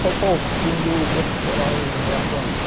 Qual qual o fundo profissional em relação a isso?